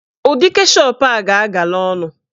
Ụdị keshọp a ga-agala ọnụ